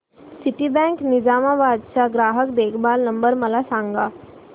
Citibank Nizamabad चा ग्राहक देखभाल नंबर मला सांगा